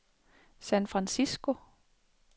San Francisco